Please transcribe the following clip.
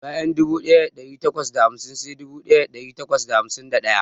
Bayan dubu ɗaya da ɗari takwas da hamsin sai dubu ɗaya da ɗari takwas da hamsin da ɗaya.